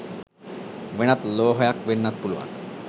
වෙනත් ලෝහයක් වෙන්නත් පුළුවන්.